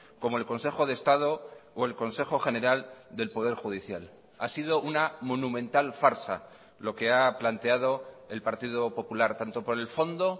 como el consejo de estado o el consejo general del poder judicial ha sido una monumental farsa lo que ha planteado el partido popular tanto por el fondo